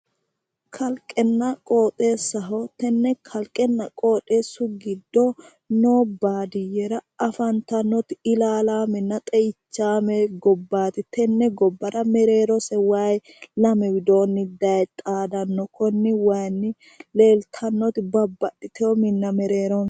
Kalqenna qoxessaho tenne kalqenna qoxeessu giddo noo baadiyyera afantannoti ilalaamenna xe'ichaame gobbaati tenne gobbara mereerose wayi lame widoonni daye xaadanno konni wayinni leeltannoti babbaxxitewo minna mereero no